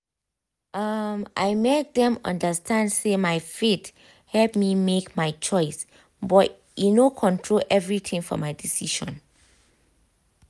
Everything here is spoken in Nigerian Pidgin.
um i make dem um understand say my faith help me make my choices but e no control everything for my decision.